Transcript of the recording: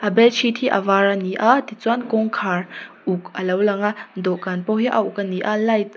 a bedsheet hi a var ani a tichuan kawngkhar uk alo lang a dawhkan pawh hi a uk ani a light --